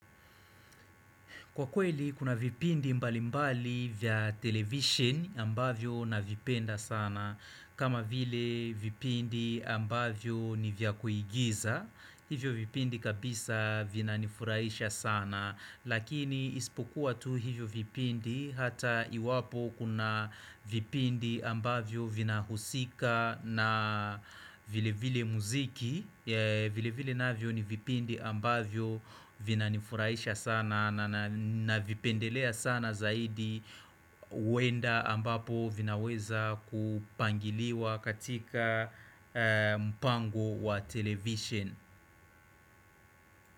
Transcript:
Kwa kweli, kuna vipindi mbali mbali vya televisheni ambavyo navipenda sana. Kama vile vipindi ambavyo ni vya kuigiza, hivyo vipindi kabisa vina nifurahisha sana. Lakini isipokuwa tu hivyo vipindi hata iwapo kuna vipindi ambavyo vina husika na vile vile muziki. Vile vile navyo ni vipindi ambavyo vina nifurahisha sana navipendelea sana zaidi huenda ambapo vinaweza kupangiliwa katika mpango wa televisisheni.